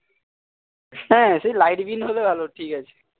হ্যাঁ সে লাইটবিহীন হলেও আলো ঠিকাছে